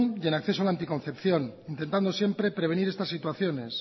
y en acceso a la anticoncepción intentando siempre prevenir estas situaciones